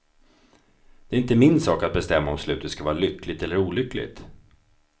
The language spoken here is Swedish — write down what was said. Det är inte min sak att bestämma om slutet ska vara lyckligt eller olyckligt.